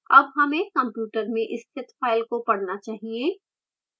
अब हमें computer में स्थित file को पढ़ना चाहिए